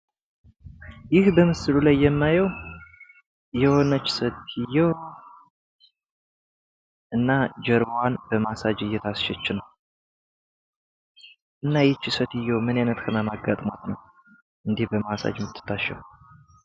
ይህ በምስሉ ላይ የማየው የሆነች ሴትዮ እና ጀርባዋን በማሳጅ እየታሸች ነው። እና ይቺ ሴትዮ ምን አይነት ህመም አጋጥሟት ነው እንዲህ በማሳጅ የምትታሸው?